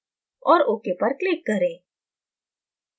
और ok पर click करें